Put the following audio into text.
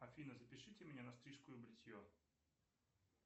афина запишите меня на стрижку и бритье